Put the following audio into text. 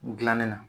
Gilanni na